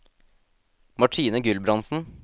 Martine Gulbrandsen